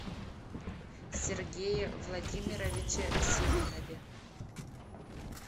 сергее владимировиче симонове